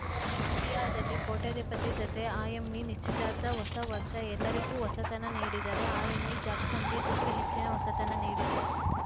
ಜಾಂಬಿಯಾದಲ್ಲಿ ಕೋಟ್ಯಧಿಪತಿ ಜತೆ ಆ್ಯಮಿ ನಿಶ್ಚಿತಾರ್ಥ ಹೊಸ ವರ್ಷ ಎಲ್ಲರಿಗೂ ಹೊಸತನ ನೀಡಿದರೆ ಆ್ಯಮಿ ಜಾಕ್ಸನ್‌ಗೆ ತುಸು ಹೆಚ್ಚಿನ ಹೊಸತನ ನೀಡಿದೆ